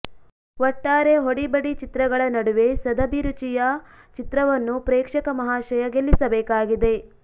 ಒಟ್ಟಾರೆ ಹೊಡಿಬಡಿ ಚಿತ್ರಗಳ ನಡುವೆ ಸದಭಿರುಚಿಯ ಚಿತ್ರವನ್ನು ಪ್ರೇಕ್ಷಕ ಮಹಾಶಯ ಗೆಲ್ಲಿಸಬೇಕಾಗಿದೆ